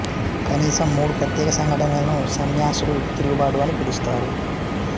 కనీసం మూడు ప్రత్యేక సంఘటనలను సన్యాసుల తిరుగుబాటు అని పిలుస్తారు